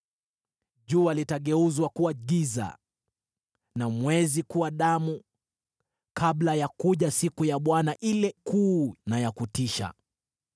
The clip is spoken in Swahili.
Jua litageuzwa kuwa giza na mwezi kuwa mwekundu kama damu, kabla ya kuja siku ya Bwana ile kuu na ya kutisha.